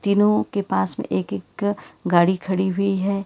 इन्हों के पास में एक एक गाड़ी खड़ी हुई है।